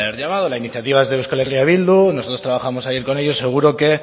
llamado la iniciativa es de euskal herria bildu nosotros trabajamos ayer con ellos seguro que